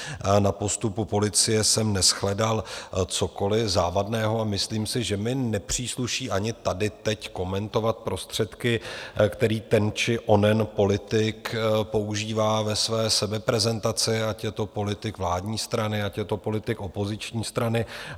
Na postupu policie jsem neshledal cokoliv závadného a myslím si, že mi nepřísluší ani tady teď komentovat prostředky, které ten či onen politik používá ve své sebeprezentaci, ať je to politik vládní strany, ať je to politik opoziční strany.